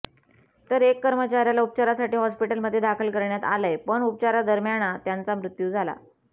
तर एक कर्मचार्याला उपचारासाठी हॉस्पिटलमध्ये दाखल करण्यात आलंय पण उपचारादरम्याना त्यांचा मृत्यू झाला